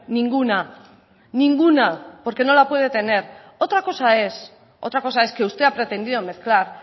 ninguna ninguna porque no la puede tener otra cosa es otra cosa es que usted ha pretendido mezclar